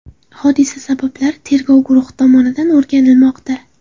Hodisa sabablari tergov guruhi tomonidan o‘rganilmoqda.